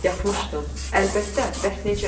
Yatmısdın, əlbəttə, bəs necə?